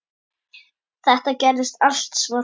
Það gerðist allt svo hratt.